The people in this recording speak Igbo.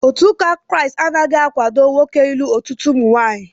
Otu ụka Kraịst anaghị akwado nwoke ịlụ ọtụtụ ụmụnwaanyị